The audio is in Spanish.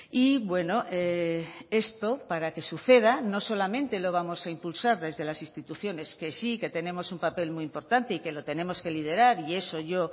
y bueno esto para que suceda no solamente lo vamos a impulsar desde las instituciones que sí que tenemos un papel muy importante y que lo tenemos que liderar y eso yo